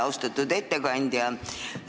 Austatud ettekandja!